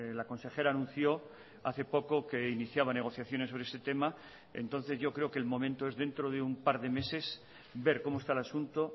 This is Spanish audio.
la consejera anunció hace poco que iniciaba negociaciones sobre este tema entonces yo creo que el momento es dentro de un par de meses ver cómo está el asunto